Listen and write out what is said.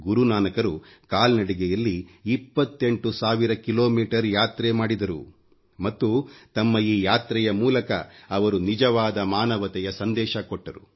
ಗುರು ನಾನಕ್ ರು ಕಾಲ್ನಡಿಗೆಯಲ್ಲಿ 28 ಸಾವಿರ ಕಿಲೋಮೀಟರ್ ಯಾತ್ರೆ ಮಾಡಿದರುಮತ್ತು ತಮ್ಮ ಈ ಯಾತ್ರೆಯ ಮೂಲಕ ಅವರು ನಿಜವಾದ ಮಾನವತೆಯ ಸಂದೇಶ ಕೊಟ್ಟರು